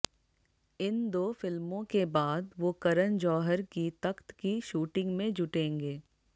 इन दो फिल्मों के बाद वो करण जौहर की तख्त की शूटिंग में जुटेंगे